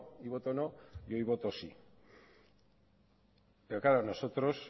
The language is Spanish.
y voto no y hoy voto sí pero claro nosotros